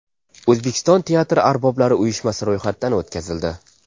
O‘zbekiston teatr arboblari uyushmasi ro‘yxatdan o‘tkazildi.